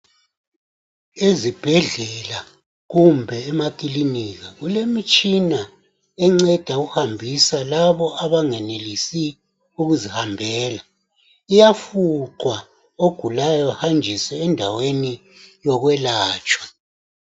Izibhedlela kumbe emakilinika kulemitshina enceda ukuhambisa labo abanganeliisi ukuzihambela. Iyafuqwa, ogulayo ahanjiswe endaweni yokwelatshwa.